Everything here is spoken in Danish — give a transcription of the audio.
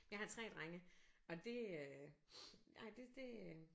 Jeg har 3 drenge og det nej det det øh